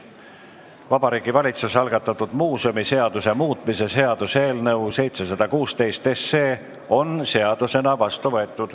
Vabariigi Valitsuse algatatud muuseumiseaduse muutmise seaduse eelnõu 716 on seadusena vastu võetud.